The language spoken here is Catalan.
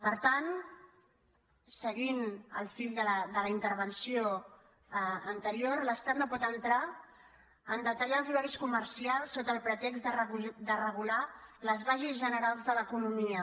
per tant seguint el fil de la intervenció anterior l’estat no pot entrar a detallar els horaris comercials sota el pretext de regular les bases generals de l’economia